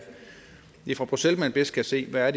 fra bruxelles man bedst kan se hvad